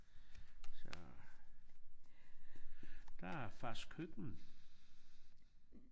Så der er fars køkken